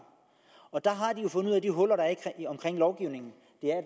jo fundet de huller der er i lovgivningen